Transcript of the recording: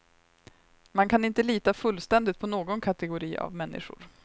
Man kan inte lita fullständigt på någon kategori av människor.